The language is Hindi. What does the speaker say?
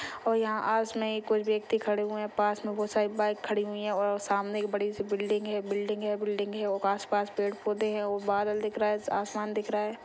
और यहाँ आस में ही कुछ व्यक्ति खड़े हुए हैं पास में बहुत सारी बाइक खड़ी हुई हैं और सामने एक बड़ी सी बिल्डिंग हैं बिल्डिंग हैं बिल्डिंग हैं और आसपास पेड़ पौधे हैं और बादल दिख रहा हैं आसमान दिख रहा हैं।